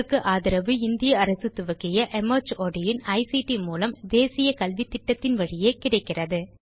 இதற்கு ஆதரவு இந்திய அரசு துவக்கிய மார்ட் இன் ஐசிடி மூலம் தேசிய கல்வித்திட்டத்தின் வழியே கிடைக்கிறது